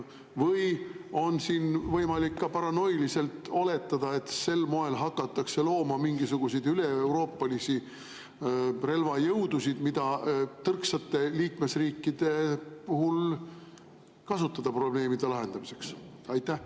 Või on siin võimalik ka paranoiliselt oletada, et sel moel hakatakse looma mingisuguseid üleeuroopalisi relvajõudusid, mida tõrksate liikmesriikide puhul kasutada probleemide lahendamiseks?